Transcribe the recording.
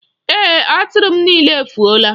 Ee, Atụrụ m niile efuola.